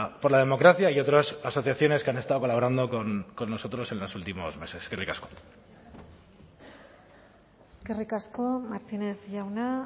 por la democracia y otras asociaciones que han estado colaborando con nosotros en los últimos meses eskerrik asko eskerrik asko martínez jauna